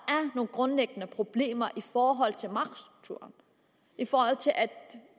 grundlæggende problemer i forhold til magtstrukturen i forhold til